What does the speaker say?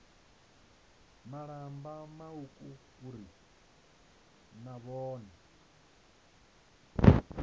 malamba mauku uri na vhone